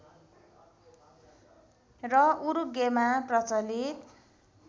र उरूग्वेमा प्रचलित